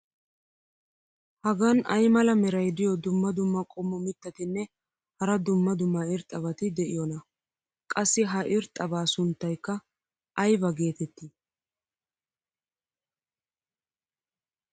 Hagan ay mala meray diyo dumma dumma qommo mitattinne hara dumma dumma irxxabati de'iyoonaa? qassi ha irxxabaa sunttaykka ayba geetettii?